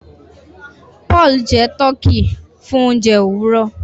Paul jẹ Tọki fún oúnjẹ Òwúrọ